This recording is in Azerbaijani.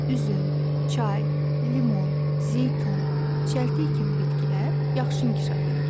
üzüm, çay, limon, zeytun, çəltik kimi bitkilər yaxşı inkişaf edir.